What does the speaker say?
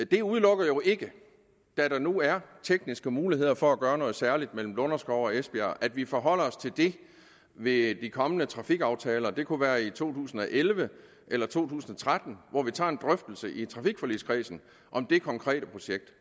det udelukker jo ikke da der nu er tekniske muligheder for at gøre noget særligt mellem lunderskov og esbjerg at vi forholder os til det ved de kommende trafikaftaler det kunne være i to tusind og elleve eller to tusind og tretten hvor vi tager en drøftelse i trafikforligskredsen om det konkrete projekt